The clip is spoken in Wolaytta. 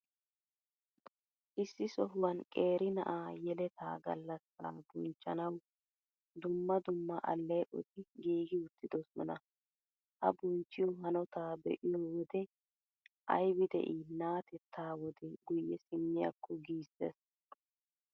Issi sohuwan qeeri na'a yeleta gallassaa bonchchanawu dumma dumma alleeqoti giigi uttidoosona. Ha bonchchiyo hanotaa be'iyo wode ''aybi de'ii naateettaa wodee guyye simmiyaakko'' giissees.